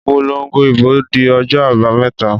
Ìpolongo ìbò di ọjọ́ àbàméta.